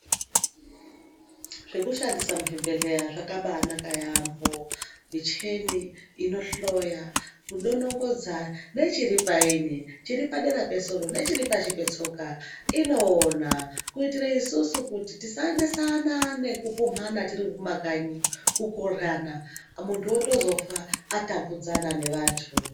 Zvekushandisa muzvibhedhlera zvakabaanaka yaamho. Michini inohloya, kudonongodza nechiripaini, chiri padera pesoro nechiri pashi petsoka inoona kuitire isusu kuti tisanesana nekuphumhana tiri mumakanyi umu kukoryana. Muntu otozofa atambudzana nevantu.